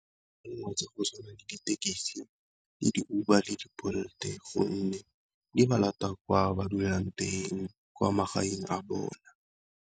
Le tsa go tshwana le ditekisi le di Uber le Bolt-e, gonne di ba lata kwa ba dulang teng kwa magaeng a .